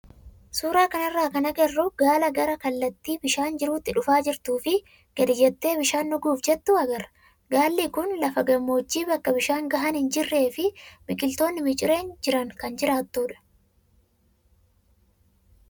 Suuraa kanarraa kan agarru gaala gara kallattii bishaan jirutti dhufaa jirtuu fi gadi jettee bishaan dhuguuf jettu agarra. Gaalli kun lafa gammoojjii bakka bishaan gahaan hin jirree fi biqiloonni micireen jiran kan jiraattudha.